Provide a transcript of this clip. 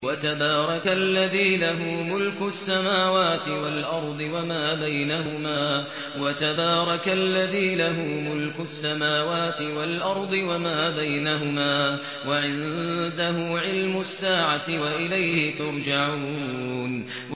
وَتَبَارَكَ الَّذِي لَهُ مُلْكُ السَّمَاوَاتِ وَالْأَرْضِ وَمَا بَيْنَهُمَا وَعِندَهُ عِلْمُ السَّاعَةِ وَإِلَيْهِ تُرْجَعُونَ